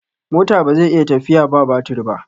mota bazai iya tafiya ba batire ba